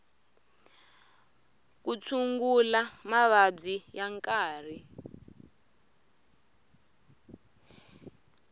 ku tshungula mavabyi ya nkarhi